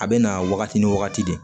A bɛ na wagati ni wagati de